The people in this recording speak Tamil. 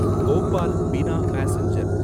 போபால் பினா பாசெஞ்சர்